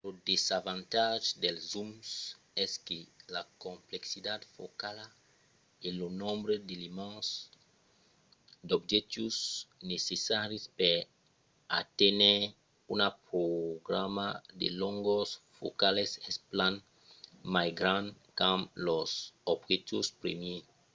lo desavantatge dels zooms es que la complexitat focala e lo nombre d'elements d'objectius necessaris per aténher una gamma de longors focalas es plan mai grand qu'amb los objectius primièrs